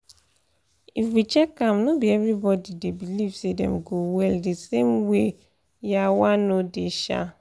if we check am no be every body dey believe say dem go well the same way yawah no dey sha